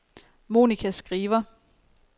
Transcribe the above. Monica Skriver